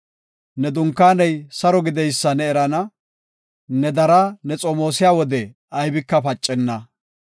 Ne dunkaaney saro gideysa ne erana; ne daraa ne xomoosiya wode aybika pacenna.